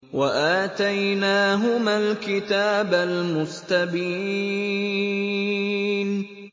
وَآتَيْنَاهُمَا الْكِتَابَ الْمُسْتَبِينَ